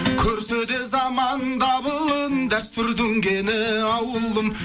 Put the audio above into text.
көрсе де заман дабылын дәстүрдің кені ауылым